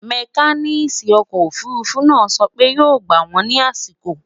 mecanic ọkọ òfurufú náà so pé yó gbà wón ní àsìkò